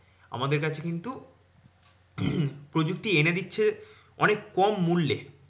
আমাদের কাছে কিন্তু প্রযুক্তি এনে দিচ্ছে অনেক কম মূল্যে